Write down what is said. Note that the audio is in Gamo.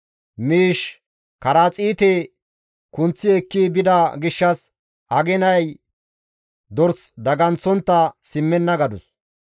Miish karaxiite kunththi ekki bida gishshas aginay dors daganththontta simmenna» gadus.